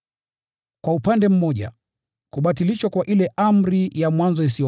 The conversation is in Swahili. Kwa upande mmoja, ile amri ya mwanzo isiyofaa na dhaifu imebatilishwa